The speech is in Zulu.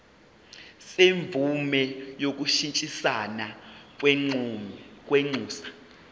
semvume yokushintshisana kwinxusa